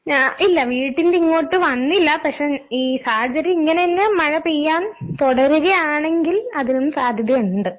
ഞാ ഇല്ല. വീട്ടിന്റിങ്ങോട്ട് വന്നില്ല പക്ഷെ ഈ സാഹചര്യം ഇങ്ങനന്നെ മഴ പെയ്യാൻ തൊടരുകയാണെങ്കിൽ അതിനും സാധ്യതയൊണ്ട്.